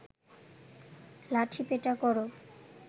লাঠিপেটা কর